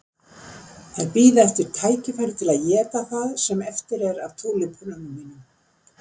Þær bíða eftir tækifæri til að éta það sem eftir er af túlípönunum mínum.